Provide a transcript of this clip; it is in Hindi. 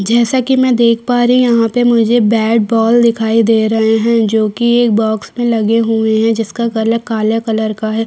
जैसा कि मैं देख पा रही यहाँ पर मुझे बैट बॉल दिखाई दे रहे है जो कि एक बॉक्स में लगे हुए है जिसका कलर काले कलर का है।